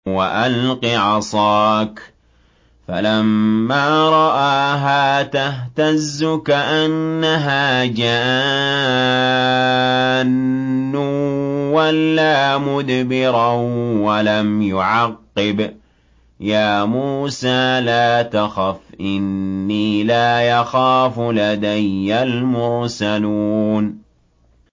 وَأَلْقِ عَصَاكَ ۚ فَلَمَّا رَآهَا تَهْتَزُّ كَأَنَّهَا جَانٌّ وَلَّىٰ مُدْبِرًا وَلَمْ يُعَقِّبْ ۚ يَا مُوسَىٰ لَا تَخَفْ إِنِّي لَا يَخَافُ لَدَيَّ الْمُرْسَلُونَ